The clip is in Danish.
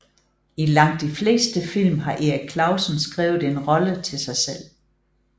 I langt de fleste film har Erik Clausen skrevet en rolle til sig selv